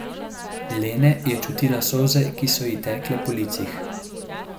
Lene je čutila solze, ki so ji tekle po licih.